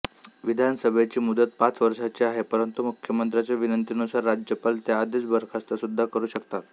विधानसभेची मुदत पाच वर्षांची आहे परंतु मुख्यमंत्र्याच्या विनंतीनुसार राज्यपाल त्याआधीच बरखास्त सुद्धा करू शकतात